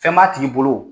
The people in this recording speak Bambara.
Fɛn b'a tigi bolo